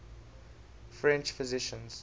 french physicians